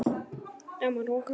Dagmar: Og hvers vegna ekki?